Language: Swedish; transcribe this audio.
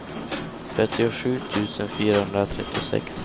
fyrtiosju tusen fyrahundratrettiosex